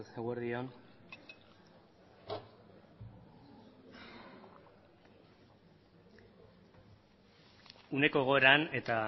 eguerdi on uneko egoeran eta